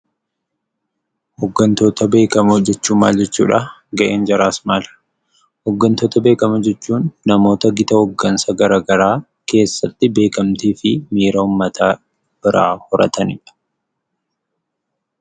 Hooggantoota beekamoo jechuun maal jechuudha? Ga'een jaraas maali? Hooggantoota beekamoo jechuun namoota gita hooggansaa garagaraa keessatti beekkamtiifi miira uummata biraa horatanidha.